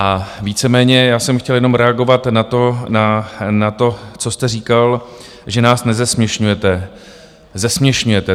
A víceméně já jsem chtěl jenom reagovat na to, co jste říkal, že nás nezesměšňujete - zesměšňujete.